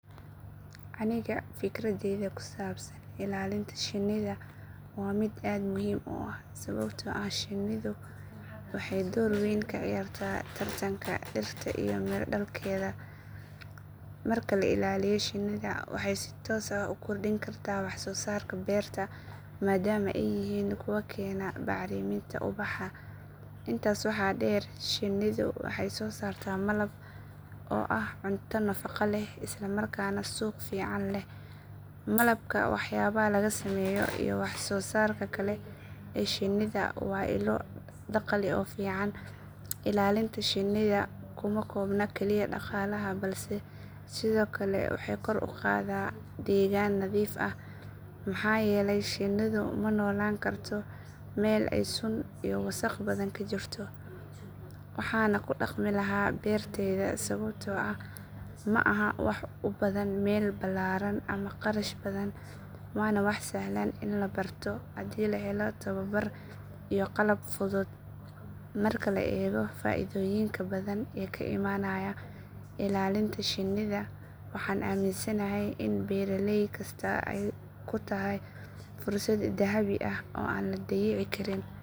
Aniga fikradayda ku saabsan ilaalinta shinnida waa mid aad muhiim u ah sababtoo ah shinnidu waxay door weyn ka ciyaartaa taranka dhirta iyo miro dhalkeeda. Marka la ilaaliyo shinnida waxay si toos ah u kordhin kartaa wax soo saarka beerta maadaama ay yihiin kuwo keena bacriminta ubaxa. Intaas waxaa dheer shinnidu waxay soo saartaa malab oo ah cunto nafaqo leh isla markaana suuq fiican leh. Malabka, waxyaabaha laga sameeyo iyo wax soo saarka kale ee shinnida waa ilo dakhli oo fiican. Ilaalinta shinnida kuma koobna kaliya dhaqaalaha balse sidoo kale waxay kor u qaadaa deegaan nadiif ah maxaa yeelay shinnidu ma noolaan karto meel ay sun iyo wasakh badan ka jirto. Waxaan ku dhaqmi lahaa beertayda sababtoo ah ma aha wax u baahan meel ballaaran ama kharash badan, waana wax sahlan in la barto haddii la helo tababar iyo qalab fudud. Marka la eego faa’iidooyinka badan ee ka imaanaya ilaalinta shinnida waxaan aaminsanahay in beeraley kasta ay ku tahay fursad dahabi ah oo aan la dayici karin.